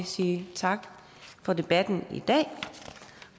sige tak for debatten i dag